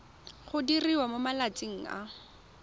go diriwa mo malatsing a